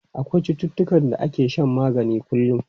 Akwai cututtukan da ake shan magani kullum.